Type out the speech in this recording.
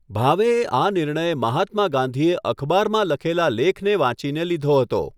ભાવેએ આ નિર્ણય મહાત્મા ગાંધીએ લખેલા અખબારમાં લખેલા લેખને વાંચીને લીધો હતો.